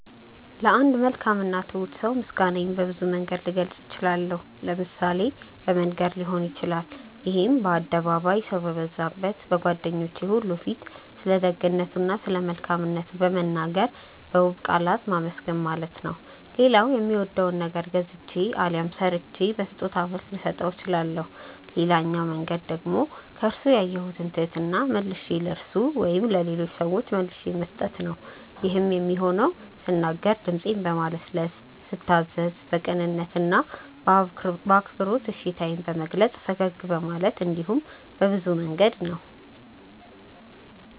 ለአንድ መልካም እና ትሁት ሰው ምስጋናዬን በብዙ መንገድ ልገልጽ እችላለሁ። ለምሳሌ በመንገር ሊሆን ይችላል ይሄም በአደባባይ፣ ሰው በበዛበት፣ በጓደኞቹ ሁሉ ፊት ስለደግነቱ እና ስለመልካምነቱ በመናገር በውብ ቃላት ማመስገን ማለት ነው። ሌላው የሚወደውን ነገር ገዝቼ አሊያም ሰርቼ በስጦታ መልክ ልሰጠው እችላለሁ። ሌላኛው መንገድ ደግሞ ከርሱ ያየሁትን ትህትና መልሼ ለርሱ ወይም ለሌሎች ሰዎች መልሼ መስጠት ነው። ይሄም የሚሆነው ስናገር ድምጼን በማለስለስ፤ ስታዘዝ በቅንነት እና በአክብሮት እሺታዬን በመግለጽ፤ ፈገግ በማለት እንዲሁም በብዙ መንገድ ነው።